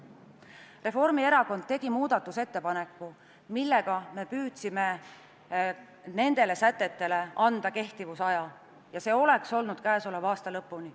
Reformierakond tegi muudatusettepaneku, millega me püüdsime nendele sätetele anda kehtivusaja, ja see oleks olnud käesoleva aasta lõpp.